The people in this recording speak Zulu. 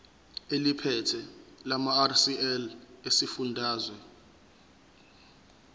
eliphethe lamarcl esifundazwe